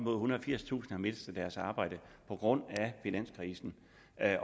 og firstusind har mistet deres arbejde på grund af finanskrisen